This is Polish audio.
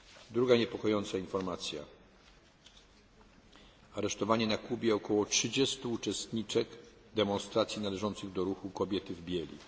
Druga niepokojąca informacja aresztowanie na Kubie około 30 uczestniczek demonstracji należących do ruchu Kobiety w bieli.